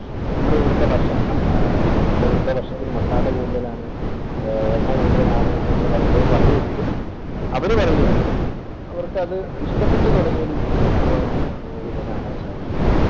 നമ്മുടെ ഇവിടത്തെ ഭക്ഷണത്തിന് masala കൂടുതലാണ് എണ്ണ കൂടുതലാണ് എന്ന് പലപ്പോഴും പറയുമെങ്കിലും, അവർ പറയും അവർക്കതു ഇഷ്ടപ്പെട്ടു തുടങ്ങിയിരിക്കുന്നു എന്നുള്ളതാണ് നമുക്കിപ്പോൾ കാണാൻ സാധിക്കും.